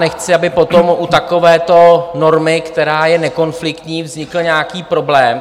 Nechci, aby potom u takovéto normy, která je nekonfliktní, vznikl nějaký problém.